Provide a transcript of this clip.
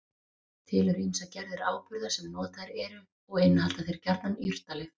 Til eru ýmsar gerðir áburða sem notaðir eru og innihalda þeir gjarnan jurtalyf.